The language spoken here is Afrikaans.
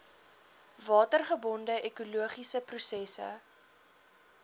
watergebonde ekologiese prosesse